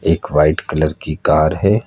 एक white colour कि car है।